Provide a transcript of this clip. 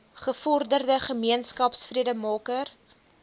gevorderde gemeenskap vredemaker